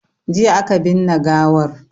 Jiya aka binne gawar